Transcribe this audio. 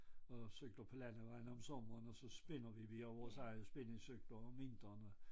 Og cykler på landevejene om sommeren og så spinner vi vi har vores egne spinningcykler om vinterene